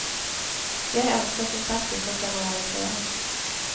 Jeg ønsker som sagt ikke å generalisere.